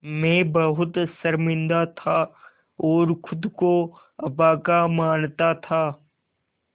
मैं बहुत शर्मिंदा था और ख़ुद को अभागा मानता था